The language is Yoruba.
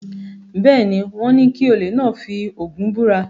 Bẹ́ẹ̀ ni, wọ́n ní kí olè náà fi Ògún búra.